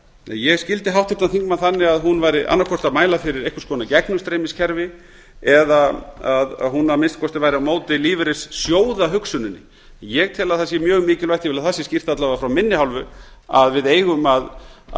ég skildi háttvirtan þingmann þannig að hún væri annað hvort að mæla fyrir einhvers konar gegnumstreymiskerfi eða að hún að minnsta kosti væri á móti lífeyrissjóðahugsuninni ég tel að það sé mjög mikilvægt ég vil að það sé skýrt alla vega frá minni hálfu að við eigum að